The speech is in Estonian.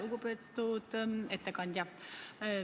Lugupeetud ettekandja!